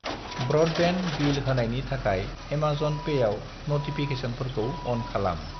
Broadband bill होनायनि थाखाय Amazon पेआव नटिफिकेसनफोरखौ अन खालाम।